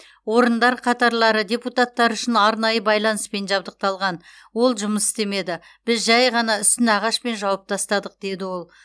орындар қатарлары депутаттар үшін арнайы байланыспен жабдықталған ол жұмыс істемеді біз жай ғана үстін ағашпен жауып тастадық деді ол